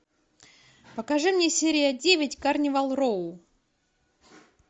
покажи мне серия девять карнивал роу